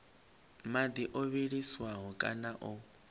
madi o vhiliswaho kana o